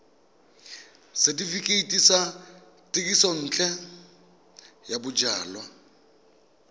setefikeiti sa thekisontle ya bojalwa